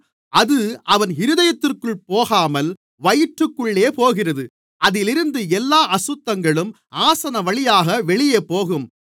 அது அவன் இருதயத்திற்குள் போகாமல் வயிற்றுக்குள்ளே போகிறது அதிலிருந்து எல்லா அசுத்தங்களும் ஆசனவழியாக வெளியேபோகும்